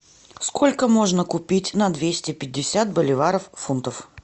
сколько можно купить на двести пятьдесят боливаров фунтов